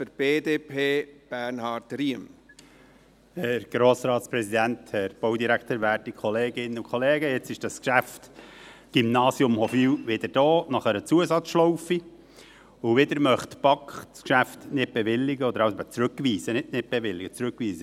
Nach einer Zusatzschlaufe ist dieses Geschäft Gymnasium Hofwil nun wieder da, und die BaK möchte das Geschäft wieder nicht bewilligen, nein, nicht «nicht bewilligen», sondern zurückweisen.